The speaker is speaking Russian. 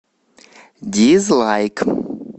дизлайк